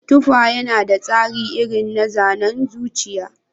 Tufa yana da tsari irin na zanen zuciya.